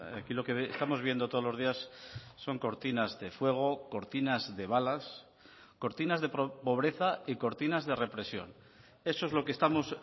aquí lo que estamos viendo todos los días son cortinas de fuego cortinas de balas cortinas de pobreza y cortinas de represión eso es lo que estamos